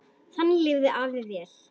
Þannig lifði afi vel.